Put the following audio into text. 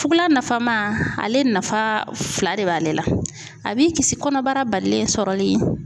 Fugula nafama, ale nafa fila de b'ale la, a b'i kisi kɔnɔbara balilen sɔrɔli